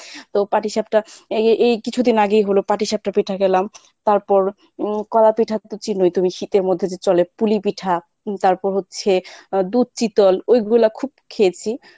ও পাঠিসাপটা এই এই কিছুদিন আগেই হলো পাঠিসাপটা পিঠা খেলাম তারপর হম কলা পিঠা তো চিনো তুমি শীতের মধ্যে যে চলে কুলিপিঠা তারপর হচ্ছে দুধ চিতল ঐগুলা খুব খেয়েছি।